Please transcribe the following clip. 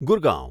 Gurgaon